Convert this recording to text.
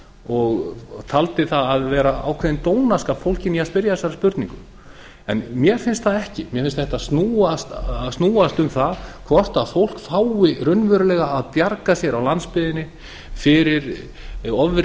og taldi vera ákveðinn dónaskap fólginn í að spyrja þessarar spurningar mér finnst það ekki mér finnst þetta snúast um það hvort fólk fái raunverulega að bjarga sér á landsbyggðinni fyrir ofríki